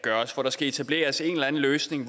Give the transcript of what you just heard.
laves for der skal etableres en eller anden løsning